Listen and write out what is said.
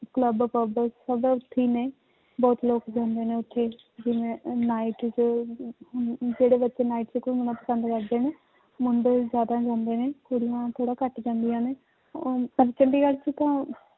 Club pub ਸਭ ਉੱਥੇ ਹੀ ਨੇ ਬਹੁਤ ਲੋਕ ਜਾਂਦੇ ਨੇ ਉੱਥੇ ਜਿਵੇਂ ਉਹ night 'ਚ ਜਿਹੜੇ ਬੱਚੇ night 'ਚ ਘੁੰਮਣਾ ਪਸੰਦ ਕਰਦੇ ਨੇ, ਮੁੰਡੇ ਜ਼ਿਆਦਾ ਜਾਂਦੇ ਨੇ, ਕੁੜੀਆਂ ਥੋੜ੍ਹਾ ਘੱਟ ਜਾਂਦੀਆਂ ਨੇ ਔਰ 'ਚ ਤਾਂ